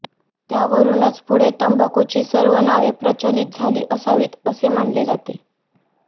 त्यावरूनच पुढे तंबाखूची सर्व नावे प्रचलित झाली असावीत असे मानले जाते